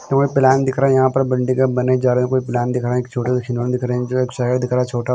तो यह प्लान दिख रहा है यहाँ पर बिल्डिंगे बने जा रहे है कोई प्लान दिख रहा है एक छोटा सा खिलौने दिख रहे है जो एक शहर दिख रहा है छोटा --